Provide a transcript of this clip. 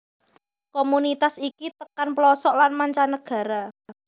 Komunitas iki tekan plosok lan mancanegara